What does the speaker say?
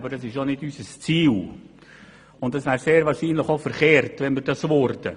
Aber das ist auch nicht unser Ziel, und es wäre sehr wahrscheinlich auch verkehrt, wenn es so wäre.